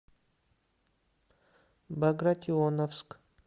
багратионовск